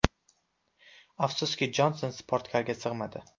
Afsuski, Jonson sportkarga sig‘madi.